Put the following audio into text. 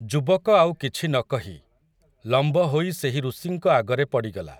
ଯୁବକ ଆଉ କିଛି ନକହି, ଲମ୍ବ ହୋଇ ସେହି ଋଷିଙ୍କ ଆଗରେ ପଡ଼ିଗଲା ।